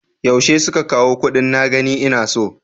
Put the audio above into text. Yaushe suka kawo kuɗin na gani ina so?